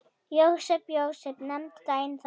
Jósep, Jósep, nefndu daginn þann.